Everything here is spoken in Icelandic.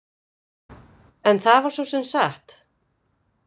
En það var svo sem satt.